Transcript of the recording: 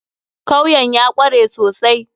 Kawyan ya kware sosai.